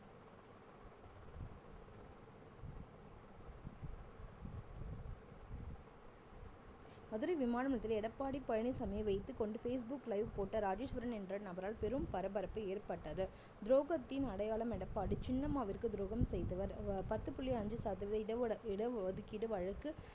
மதுரை விமானம் நிலையத்தில் எடப்பாடி பழனிச்சாமியை வைத்துக்கொண்டு ஃபேஸ்புக் live போட்ட ராஜேஸ்வரன் என்ற நபரால் பெரும் பரபரப்பு ஏற்பட்டது துரோகத்தின் அடையாளம் எடப்பாடி சின்னம்மாவிற்கு துரோகம் செய்தவர் ப~ பத்து புள்ளி அஞ்சு சதவீதம் இட ஒட~ இட ஒதுக்கீடு வழக்கு